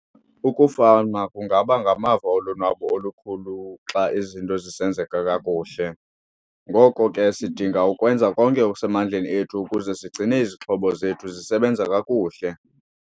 Ukufama kungaba ngamava olonwabo olukhulu xa izinto zisenzeka kakuhle, ngoko ke sidinga ukwenza konke okusemandleni ethu ukuze sigcine izixhobo zethu zisebenza kakuhle.